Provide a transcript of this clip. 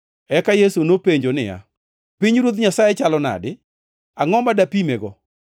Eka Yesu nopenjo niya, “Pinyruoth Nyasaye chalo nade? Angʼo ma dapimego?